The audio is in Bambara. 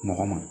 Nɔgɔ ma